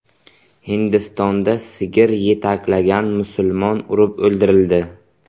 Hindistonda sigir yetaklagan musulmon urib o‘ldirildi.